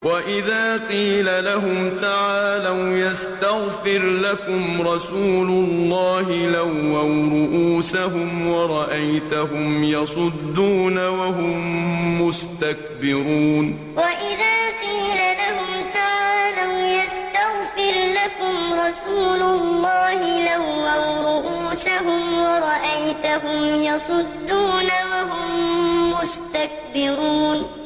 وَإِذَا قِيلَ لَهُمْ تَعَالَوْا يَسْتَغْفِرْ لَكُمْ رَسُولُ اللَّهِ لَوَّوْا رُءُوسَهُمْ وَرَأَيْتَهُمْ يَصُدُّونَ وَهُم مُّسْتَكْبِرُونَ وَإِذَا قِيلَ لَهُمْ تَعَالَوْا يَسْتَغْفِرْ لَكُمْ رَسُولُ اللَّهِ لَوَّوْا رُءُوسَهُمْ وَرَأَيْتَهُمْ يَصُدُّونَ وَهُم مُّسْتَكْبِرُونَ